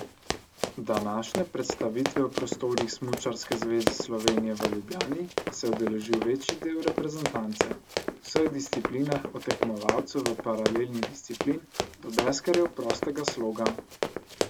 Današnje predstavitve v prostorih Smučarske zveze Slovenije v Ljubljani se je udeležil večji del reprezentance, v vseh disciplinah od tekmovalcev v paralelnih disciplin do deskarjev prostega sloga.